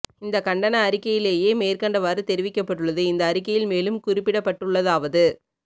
இந்த கண்டன அறிக்கையிலேயே மேற்கண்டவாறு தெரிவிக்கப்பட்டுள்ளது இந்த அறிக்கையில் மேலும் குறிப்பிடப்பட்டுள்ளதாவது